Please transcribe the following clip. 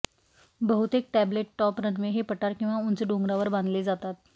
बहुतेक tabletop runway हे पठार किंवा उंच डोंगरावर बांधले जातात